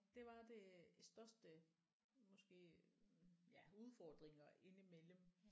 Det var det største måske ja udfordringer ind imellem